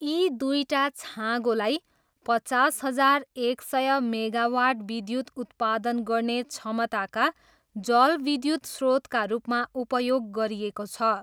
यी दुईटा छाँगोलाई पचास हजार एक सय मेगावाट विद्युत उत्पादन गर्ने क्षमताका जलविद्युत स्रोतका रूपमा उपयोग गरिएको छ।